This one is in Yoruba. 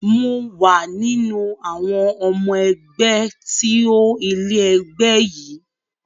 Mò wà nínú àwọn ọmọ ẹgbẹ́ tí ó ilẹ̀ ẹgbẹ́ yìí